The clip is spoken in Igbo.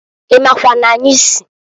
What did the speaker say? I makwa n'anyị si?